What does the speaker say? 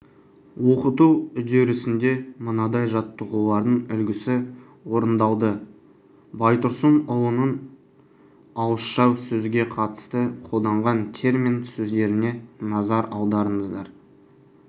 оқыту үдерісінде мынадай жаттығулардың үлгісі орындалды байтұрсынұлының ауызша сөзге қатысты қолданған термин сөздеріне назар аударыңыздар